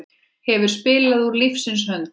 Hefur spilað úr lífsins hönd.